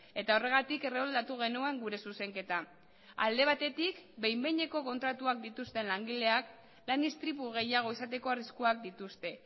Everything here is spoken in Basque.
eta horregatik erroldatu genuen gure zuzenketa alde batetik behin behineko kontratuak dituzten langileak lan istripu gehiago izateko arriskuak dituzte